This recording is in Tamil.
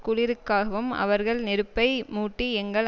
குளிருக்காகவும் அவர்கள் நெருப்பை மூட்டி எங்கள்